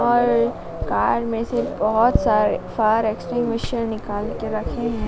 और कार में से बहोत सारे फायर एक्सटिंग्विशर निकाल के रखे हैं।